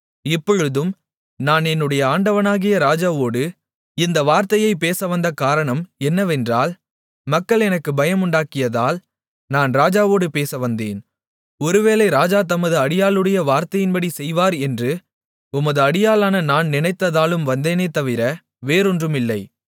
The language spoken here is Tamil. இப்பொழுதும் நான் என்னுடைய ஆண்டவனாகிய ராஜாவோடு இந்த வார்த்தையைப் பேசவந்த காரணம் என்னவென்றால் மக்கள் எனக்குப் பயமுண்டாக்கியதால் நான் ராஜாவோடு பேசவந்தேன் ஒருவேளை ராஜா தமது அடியாளுடைய வார்த்தையின்படி செய்வார் என்று உமது அடியாளான நான் நினைத்ததாலும் வந்தேனே தவிர வேறொன்றுமில்லை